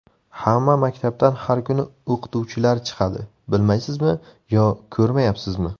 Hamma maktabdan har kuni o‘qituvchilar chiqadi, bilmaysizmi yo ko‘rmayapsizmi?